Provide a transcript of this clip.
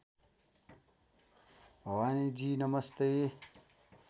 भवानीजी नमस्ते